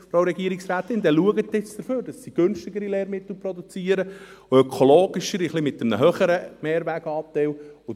Frau Regierungsrätin, dann schauen Sie jetzt, dass sie günstigere und ökologischere Lehrmittel mit einem etwas höheren Mehrweganteil produzieren.